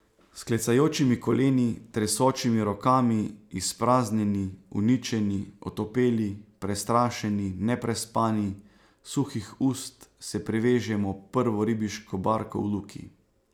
S klecajočimi koleni, tresočimi rokami, izpraznjeni, uničeni, otopeli, prestrašeni, neprespani, suhih ust se privežemo ob prvo ribiško barko v luki.